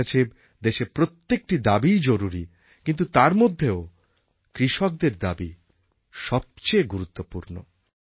আমার কাছে দেশের প্রত্যেকটি দাবিই জরুরি কিন্তু তার মধ্যেও কৃষকদের দাবি সবচেয়ে গুরুত্বপূর্ণ